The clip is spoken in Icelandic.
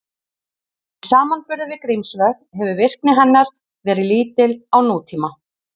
Í samanburði við Grímsvötn hefur virkni hennar verið lítil á nútíma.